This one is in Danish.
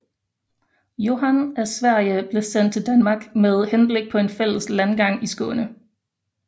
Johan af Sverige blev sendt til Danmark med henblik på en fælles landgang i Skåne